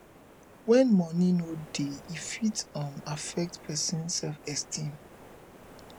when money no dey e fit um affect person self esteem